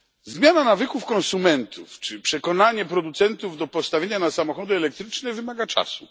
Zmiana nawyków konsumentów czy przekonanie producentów do postawienia na samochody elektryczne wymaga czasu.